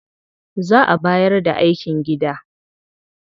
Za a bayar da aikin gida.